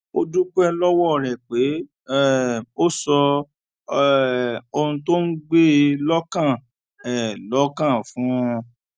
ó dúpé lówó rè pé um ó sọ um ohun tó ń gbé e lókàn e lókàn fún un